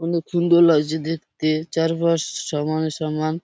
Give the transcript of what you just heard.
অনেক সুন্দর লাগছে দেখতে চারপাশ সমান সমান।